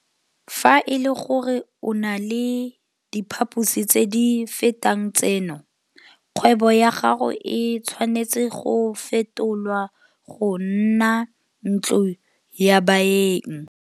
Fa e le gore o na le diphaposi tse di fetang tseno, kgwebo ya gago e tshwanetse go fetolwa go nna ntlo ya baeng.